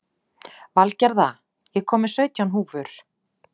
Valgerða, ég kom með sautján húfur!